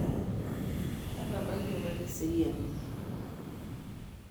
atabayie apa teseriani